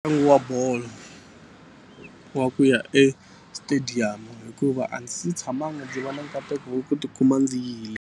Ntlangu wa bolo wa ku ya estadium hikuva a ndzi si tshamangi ndzi va na nkateko wa ku tikuma ndzi yile.